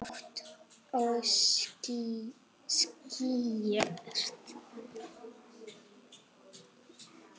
Hátt og skýrt.